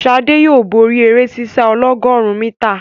Sade yóò bóri eré sísá ọlọ́gọ̀rún mítà.